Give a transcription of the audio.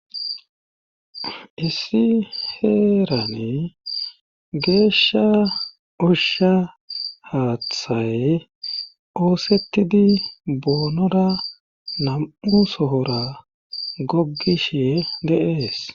Issi heerane geeshsha ushsha haathay oosettidi boonora nam7u sohora goggishe deees